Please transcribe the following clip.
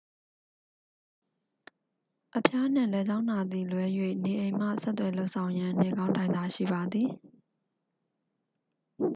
အဖျားနှင့် လည်ချောင်းနာသည်လွဲ၍ နေအိမ်မှ ဆက်သွယ်လုပ်ဆောင်ရန် နေကောင်းထိုင်သာရှိပါသည်